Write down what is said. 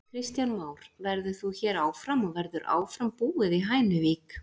Kristján Már: Verður þú hér áfram og verður áfram búið í Hænuvík?